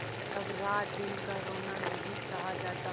पर अब रातदिन का रोना नहीं सहा जाता